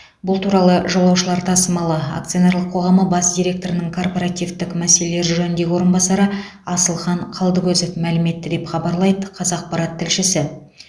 бұл туралы жолаушылар тасымалы акционерлік қоғамы бас директорының корпоративтік мәселелер жөніндегі орынбасары асылхан қалдыкозов мәлім етті деп хабарлайды қазақпарат тілшісі